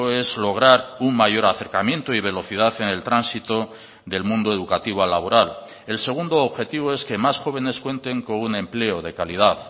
es lograr un mayor acercamiento y velocidad en el tránsito del mundo educativo al laboral el segundo objetivo es que más jóvenes cuenten con un empleo de calidad